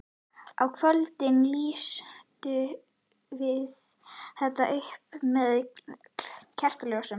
Á kvöldin lýstum við þetta upp með kertaljósum.